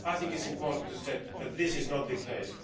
I think it is important to say that this is not the case.